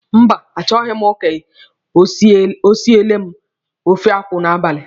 Mba, achọghị m ka o siele m ofe akwụ n'abalị.